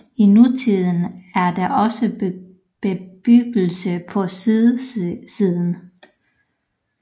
I nutiden er der også bebyggelse på sydsiden